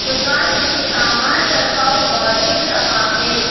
दुकान में सामान रखा हुआ दिख रहा है।